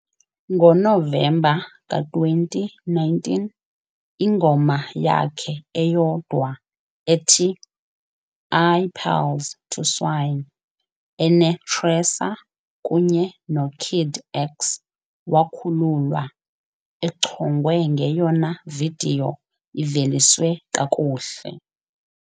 NgoNovemba ka-2019, ingoma yakhe eyodwa ethi "IiPearls To Swine" ene-TRESOR kunye no-Kid X wakhululwa, echongwe ngeyona vidiyo iVeliswe kakuhle.